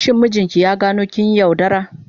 Shin mijinki ya gano kin yi yaudara?